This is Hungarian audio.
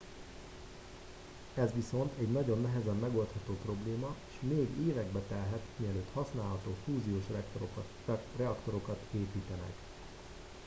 ez viszont egy nagyon nehezen megoldható probléma és még évekbe telhet mielőtt használható fúziós reaktorokat építenek